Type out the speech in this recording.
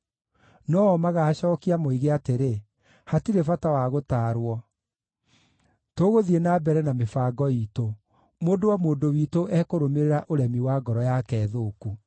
No-o magaacookia moige atĩrĩ, ‘Hatirĩ bata wa gũtaarwo. Tũgũthiĩ na mbere na mĩbango iitũ; mũndũ o mũndũ witũ ekũrũmĩrĩra ũremi wa ngoro yake thũku.’ ”